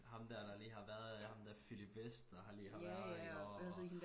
Ham dér der lige har været der ham dér Philip Westh der har lige har været iggå og